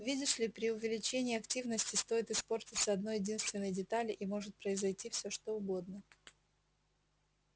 видишь ли при увеличении активности стоит испортиться одной-единственной детали и может произойти всё что угодно